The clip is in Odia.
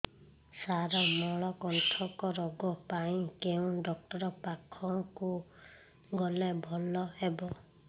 ସାର ମଳକଣ୍ଟକ ରୋଗ ପାଇଁ କେଉଁ ଡକ୍ଟର ପାଖକୁ ଗଲେ ଭଲ ହେବ